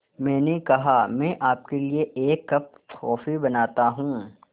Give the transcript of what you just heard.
मैंने कहा मैं आपके लिए एक कप कॉफ़ी बनाता हूँ